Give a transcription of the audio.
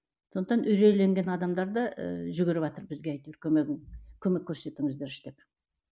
сондықтан үрейленген адамдар да ыыы жүгіріватыр бізге әйтеуір көмегін көмек көрсетіңіздерші деп